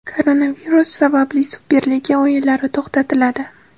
Koronavirus sabab Superliga o‘yinlari to‘xtatiladi.